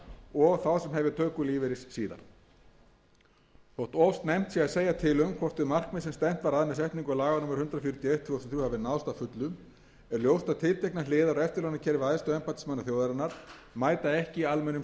og þá sem hefja töku lífeyris síðar þótt of snemmt sé að segja til um hvort þau markmið sem stefnt var að með setningu laga númer hundrað fjörutíu og eitt tvö þúsund og þrjú hafi náðst að fullu er ljóst að tilteknar hliðar á eftirlaunakerfi æðstu embættismanna þjóðarinnar mæta ekki almennum